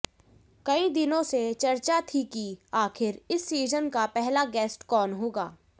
कई दिनों से चर्चा थी कि आखिर इस सीजन का पहला गेस्ट कौन होगा